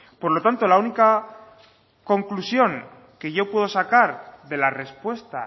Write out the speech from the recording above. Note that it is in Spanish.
por lo tanto la única conclusión que yo puedo sacar de la respuesta